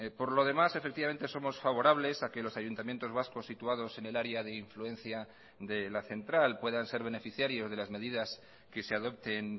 por lo demás efectivamente somos favorables a que los ayuntamientos vascos situados en el área de influencia de la central puedan ser beneficiarios de las medidas que se adopten